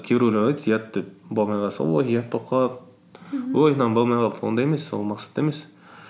кейбіреулер айтады ұят деп болмай қалса ой ұят болып қалады ой мынауым болмай қалды ондай емес ол мақсат емес